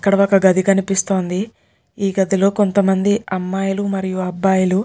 ఇక్కడ ఒక్కగది కనిపిస్తోందిఈ గదిలో కొంతమంది అమ్మాయిలు మరియు అబ్బాయిలు --.